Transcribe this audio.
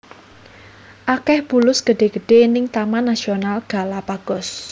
Akeh bulus gedhe gedhe ning Taman Nasional Galapagos